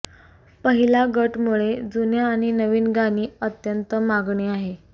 पहिला गट मुळे जुन्या आणि नवीन गाणी अत्यंत मागणी आहे